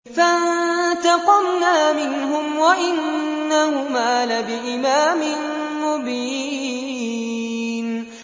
فَانتَقَمْنَا مِنْهُمْ وَإِنَّهُمَا لَبِإِمَامٍ مُّبِينٍ